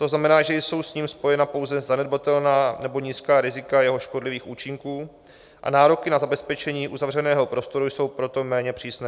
To znamená, že jsou s ním spojena pouze zanedbatelná nebo nízká rizika jeho škodlivých účinků, a nároky na zabezpečení uzavřeného prostoru jsou proto méně přísné.